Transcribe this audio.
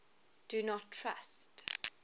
do not trust